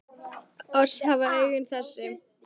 Oss hafa augun þessi